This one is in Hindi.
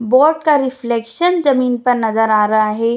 बोर्ड का रिफ्लेकसन जमीन पर नजर आ रहा है।